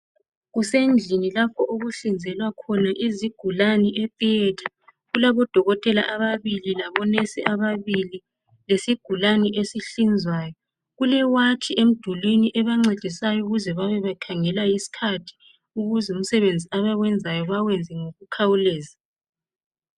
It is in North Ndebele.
Kusendlini lapho okuhlinzelwa khona izigulane etheatre. Kulabodokotela ababili labonesi ababili lesigulane esihlinzwayo. Kulewatshi emdulini ebancedisayo ukuze babe bekhangela isikhathi ukuze umsebenzi abawenzayo bawenze ngokukhawuleza.